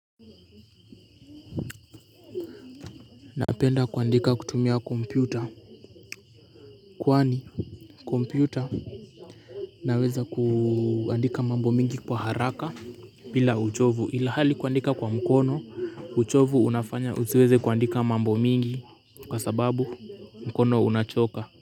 Napenda kuandika kutumia kompyuta kwani kompyuta naweza kuandika mambo mengi kwa haraka bila uchovu ilihali kuandika kwa mkono uchovu unafanya usiweze kuandika mambo mengi kwa sababu mkono unachoka.